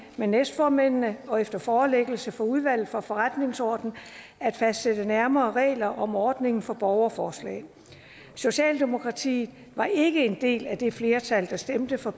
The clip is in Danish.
med næstformændene og efter forelæggelse for udvalget for forretningsordenen at fastsætte nærmere regler om ordningen for borgerforslag socialdemokratiet var ikke en del af det flertal der stemte for